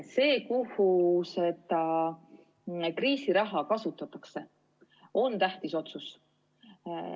See, kus seda kriisiraha kasutatakse, on tähtis otsus.